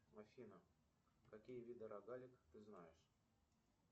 афина какие виды рогаликов ты знаешь